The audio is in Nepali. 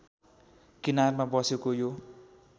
किनारमा बसेको यो